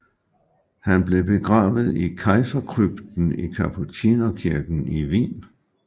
Han blev begravet i Kejserkrypten i Kapucinerkirken i Wien